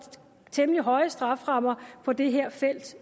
temmelig høje strafferammer på det her felt